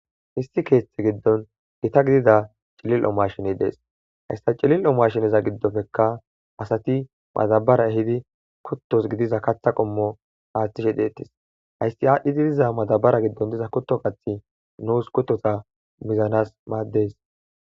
Issi keethetha giddon gitta gidida cilil'o mashiney dees hayssa cillil'o mashineza giddoppekka asati madabara ehidi kuttos gidiza kaththa qoommo aaththishe dettis hayssi aadhdhidi diza madabara giddon diza kutto kaththi nuus kuttota mizanas maaddes